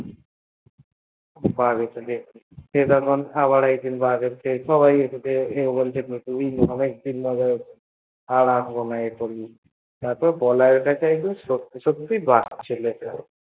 সে আবার একদিন বদর কে খেয়াল সে বলল আবার তুই বদর ক খেয়ালে আর আসবেনা তারপর বলাই এর কাছে একদিন সততই সততই বাঘ চলে এল